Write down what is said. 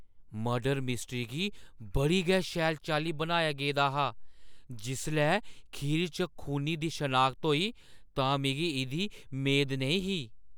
Murder mystery गी बड़ी गै शैल चाल्ली बनाया गेदा हा, जिसलै खीर च खूनी दी शनाख्त होई तां मिगी इʼदी मेद नेईं ही।